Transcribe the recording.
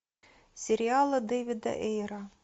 сериалы дэвида эйра